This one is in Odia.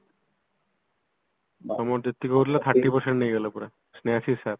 ଆମର ଯେତିକ ହଉଥିଲା thirty percent ନେଇଗଲେ ପୁରା ସ୍ନେହାସିଶ sir